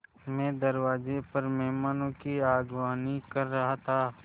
मैं दरवाज़े पर मेहमानों की अगवानी कर रहा था